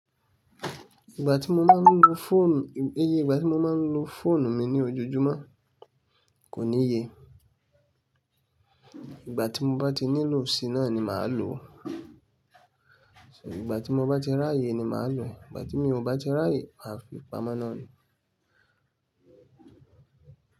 Ìgbà tí mo máa ń lo fóònù, iye ìgbà tí mo máa ń lo fóònù mi ní ojoojúmọ́ kò ní ye. Ìgbà tí mo bá ti nílò sí i náà ni màá lò ó. So ìgbà tí mo bá ti ráyè ni màá lò, ìgbà tí mi ò bá ti ráyè, màá fi pamọ́ náà ni.